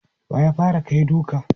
Wa ya fara kai duka?